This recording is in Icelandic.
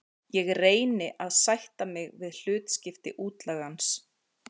Ég reyni að sætta mig við hlutskipti útlagans.